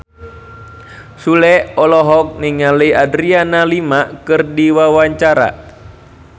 Sule olohok ningali Adriana Lima keur diwawancara